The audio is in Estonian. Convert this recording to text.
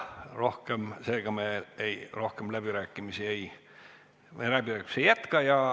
Seega me läbirääkimisi ei jätka.